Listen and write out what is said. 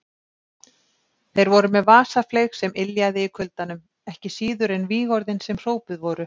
Þeir voru með vasafleyg sem yljaði í kuldanum, ekki síður en vígorðin sem hrópuð voru.